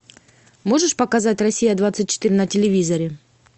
можешь показать россия двадцать четыре на телевизоре